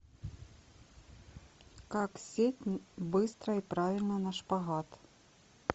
как сесть быстро и правильно на шпагат